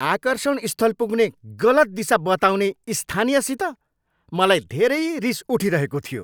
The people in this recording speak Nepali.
आकर्षण स्थल पुग्ने गलत दिशा बताउने स्थानीयसित मलाई धेरै रिस उठिरहेको थियो।